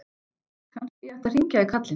Kannski ég ætti að hringja í kallinn.